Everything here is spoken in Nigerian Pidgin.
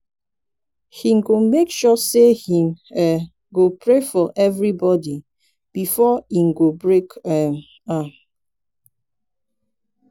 him go make sure say him um go pray for evribodi befor e break um am